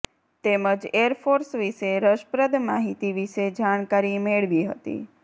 તેમજ એરફોર્સ વિશે રસપ્રદ માહિતી વિશે જાણકારી મેળવી હતી